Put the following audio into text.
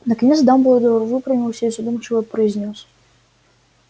наконец дамблдор выпрямился и задумчиво произнёс